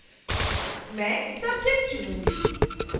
मैं subject चुनूँगी